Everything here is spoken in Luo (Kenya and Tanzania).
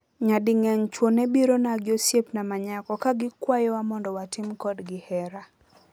Nyadingeny chwo nebirona giosiepna manyako kagikwayowa mondo watim kodgi hera